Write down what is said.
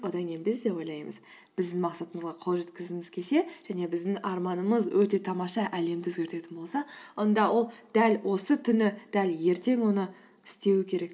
одан кейін біз де ойлаймыз біздің мақсатымызға қол жеткізгіміз келсе және біздің арманымыз өте тамаша әлемді өзгертетін болса онда ол дәл осы түні дәл ертең оны істеуі керек